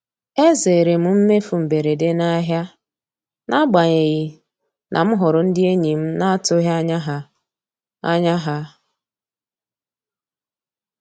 E zeere m mmefu mberede n'ahịa n'agbanyeghị na m hụrụ ndị enyi m na-atụghị anya ha. anya ha.